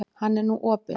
Hann er nú opinn.